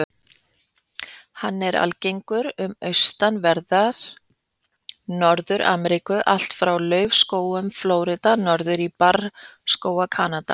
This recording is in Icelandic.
Hann er algengur um austanverða Norður-Ameríku, allt frá laufskógum Flórída norður í barrskóga Kanada.